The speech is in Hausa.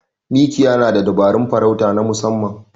Mikiya na da dabarun farauta na musamman.